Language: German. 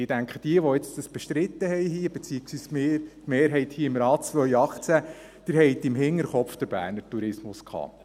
Ich denke, wer dies bestritten hat, beziehungsweise die Mehrheit hier drin im Rat, im Jahr 2018, hatte den Berner Tourismus im Hinterkopf.